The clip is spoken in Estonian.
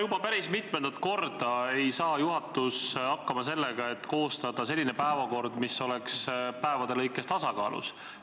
Juba päris mitmendat korda ei saa juhatus hakkama, et koostada selline päevakord, mis oleks päevade lõikes tasakaalus.